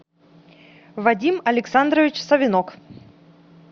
вадим александрович савенок